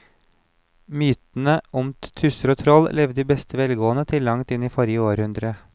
Mytene om tusser og troll levde i beste velgående til langt inn i forrige århundre.